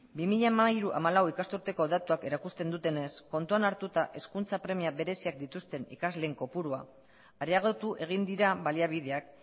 bi mila hamairu bi mila hamalau ikasturteko datuak erakusten dutenez kontuan hartuta hezkuntza premia bereziak dituzten ikasleen kopurua areagotu egin dira baliabideak